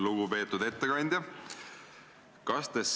Lugupeetud ettekandja!